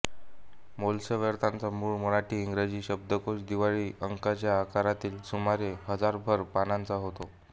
मोल्सवर्थचा मूळ मराठीइंग्रजी शब्दकोश दिवाळी अंकाच्या आकारातील सुमारे हजारभर पानांचा होता